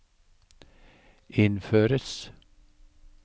innføres